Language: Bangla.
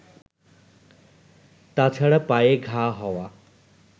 তাছাড়া পায়ে ঘা হওয়া